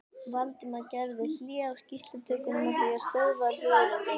Valdimar gerði hlé á skýrslutökunni með því að stöðva hljóðritunina.